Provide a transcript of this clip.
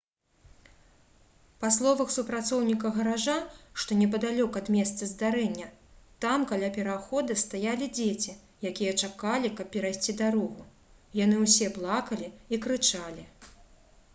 па словах супрацоўніка гаража што непадалёк ад месца здарэння «там каля перахода стаялі дзеці якія чакалі каб перайсці дарогу — яны ўсе плакалі і крычалі»